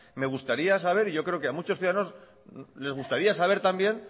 me gustaría saber y yo creo que a muchos ciudadanos les gustaría saber también